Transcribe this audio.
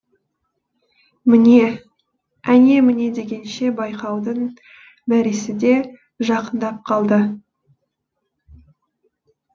міне әне міне дегенше байқаудың мәресі де жақындап қалды